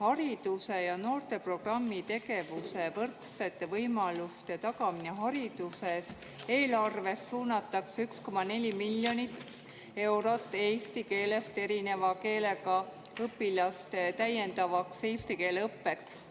Haridus- ja noorteprogrammi tegevuse "Võrdsete võimaluste tagamine hariduses" eelarvest suunatakse 1,4 miljonit eurot eesti keelest erineva emakeelega õpilaste täiendavaks eesti keele õppeks.